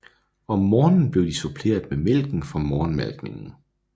Om morgenen blev de suppleret med mælken fra morgenmalkningen